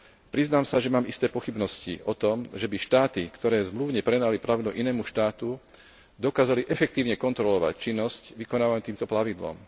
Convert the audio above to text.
Priznám sa, že mám isté pochybnosti o tom, že by štáty, ktoré zmluvne prenajali plavidlo inému štátu, dokázali efektívne kontrolovať činnosť vykonávanú týmto plavidlom.